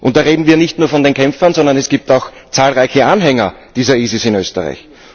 Da reden wir nicht nur von den Kämpfern, sondern es gibt auch zahlreiche Anhänger des IS in Österreich.